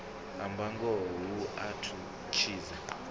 amba ngoho hu a tshidza